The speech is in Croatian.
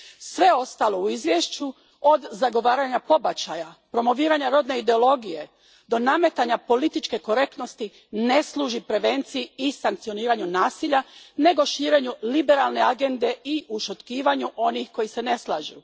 Sve ostalo u izvješću od zagovaranja pobačaja, promoviranja rodne ideologije do nametanja političke korektnosti ne služi prevenciji i sankcioniranju nasilja, nego širenju liberalne agende i ušutkivanju onih koji se ne slažu.